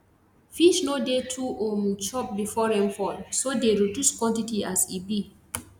fish no dey too um chop before rainfall so dey reduce quantity as e be